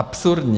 Absurdní.